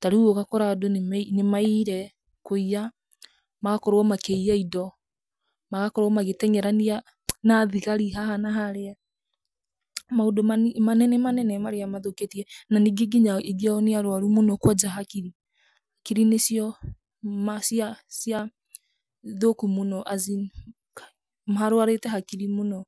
tarĩu ũgakora andũ nĩ nĩma nĩ mayire, kũiya, magakorwo ma kĩiya indo, magakorwo ma gĩtengerania na thigari haha na harĩa, maundũ mani manene manene marĩa mathũkĩtie, na ningĩ aingĩ ao nĩ arwaru mũno kwanja hakiri, hakiri nĩ cio ma cia cia thũku mũno [as in], Ngai, marwarĩte hakiri mũno.